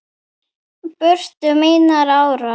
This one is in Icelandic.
brutu mínar árar